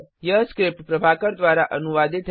यह स्क्रिप्ट प्रभाकर द्वारा अनुवादित है